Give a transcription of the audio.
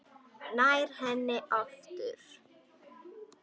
Nær henni aftur.